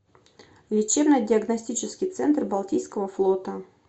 лечебно диагностический центр балтийского флота